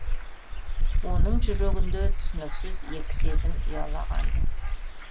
оның жүрегінде түсініксіз екі сезім ұялағанды